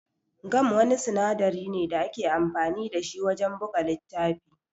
Gam Wani sinadari ne da ake amfani da shi wajan buga littafi